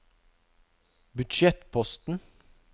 budsjettposten